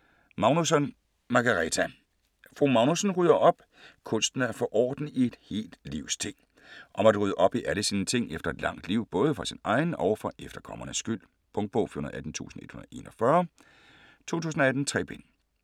Magnusson, Margareta: Fru Magnusson rydder op!: kunsten at få orden i et helt livs ting Om at rydde op i alle sine ting efter et langt liv, både for sin egen og for efterkommernes skyld. Punktbog 418141 2018. 3 bind.